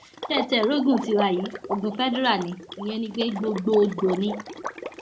ṣé ẹ tiẹ rí ogún tiwa yìí ogun fedira ní ìyẹn ni pé gbogbogbòó ni